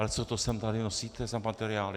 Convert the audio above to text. Ale co to sem tady nosíte za materiály?